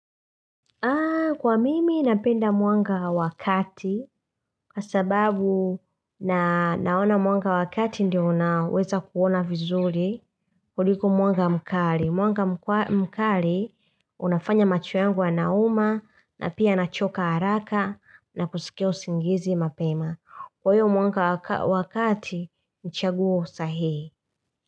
Kwa mimi napenda mwanga wakati kwa sababu naona mwanga wakati ndio naweza kuona vizuri kuliko mwanga mkari. Mwanga mkari unafanya macho yangu yanauma na pia nachoka haraka na kusikia usingizi mapema. Kwa hiyo mwanga wakati ni chaguo sahihi.